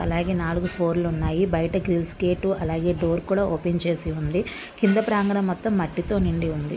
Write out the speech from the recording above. అలాగే నాలుగు ఫోర్లు ఉన్నాయి బయట గ్రిల్స్ గేటు అలాగే డోర్ కూడా ఓపెన్ చేసి ఉంది కింద ప్రాంగణం మొత్తం మట్టి తో నిండి ఉంది .